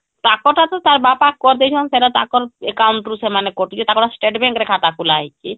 ତାଙ୍କର ତାର ତ ତାର ବାପା କରିଦେଇଛନ ସେଟା ତାର account ରୁ ସେମାନେ କଟୁଛି ତାଙ୍କର state bank ରେ ଖାତା ଖୋଲା ହେଇଛି